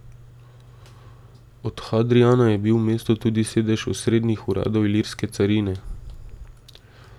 Od Hadrijana je bil v mestu tudi sedež osrednjih uradov ilirske carine.